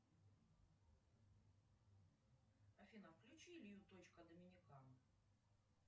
афина включи илью точка доминиканы